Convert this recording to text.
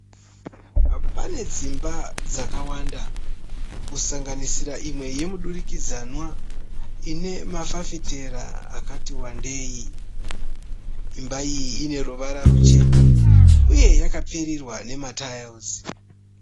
Pane dzimba dzakawanda kusanganisira imwe yemudurikidzanwa, ine mafafitera akati wandei. Imba iyi ine ruvara rwuchena uye yakapfirirwa nema tairisi